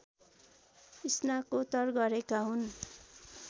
स्नाकोत्तर गरेका हुन्